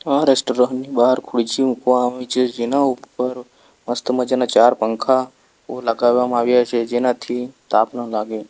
આ રેસ્ટોરન્ટ ની બહાર ખુરચી મુકવામાં આવી છે જેના ઉપર મસ્ત મજાના ચાર પંખાઓ લગાવવામાં આવ્યા છે જેનાથી તાપ ન લાગે.